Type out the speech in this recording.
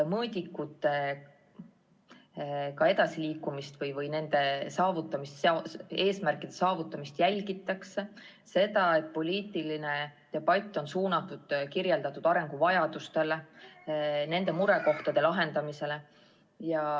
Mõõdikutega edasiliikumist või eesmärkide saavutamist jälgida – seda, et poliitiline debatt oleks suunatud kirjeldatud arenguvajadustele ja murekohtade lahendamisele.